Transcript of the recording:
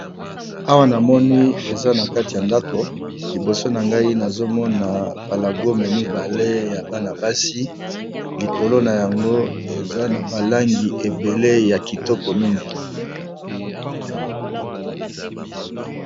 Awa namoni balakisi biso eza esika mokoboye nakati yandako namoni basapato mibale eza likolo ya tapi namoni eza nalangi bozinga